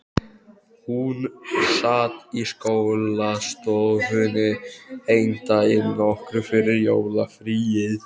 Hún sat í skólastofunni einn daginn, nokkru fyrir jólafríið.